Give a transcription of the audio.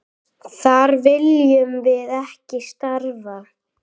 Þar viljum við ekki starfa.